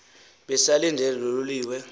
besalindele loo loliwe